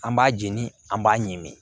An b'a jeni an b'a ɲimi